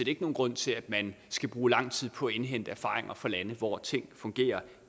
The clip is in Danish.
ikke nogen grund til at man skal bruge lang tid på at indhente erfaringer fra lande hvor ting fungerer